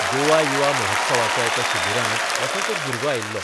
गोवा युवा महोत्सवाच्या एका शिबिरांत असोच एक भुरगो आयिल्लो.